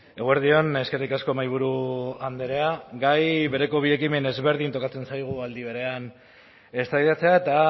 eguerdi on eskerrik asko mahaiburu andrea gai bereko bi ekimen ezberdin tokatzen zaigu aldi berean eztabaidatzea eta